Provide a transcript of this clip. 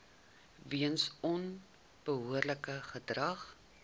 weens onbehoorlike gedrag